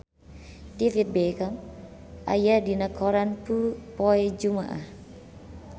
David Beckham aya dina koran poe Jumaah